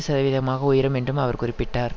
சதவீதமாக உயரும் என்றும் அவர் குறிப்பிட்டார்